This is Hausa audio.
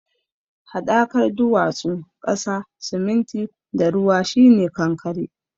Haɗakar duwatsu, ƙasa, siminti da ruwa shi ne kankare.